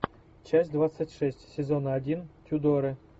часть двадцать шесть сезона один тюдоры